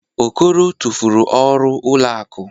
Okoro tụfuru ọrụ ụlọ akụ.